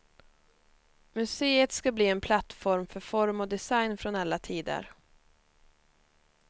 Museet ska bli en plattform för form och design från alla tider.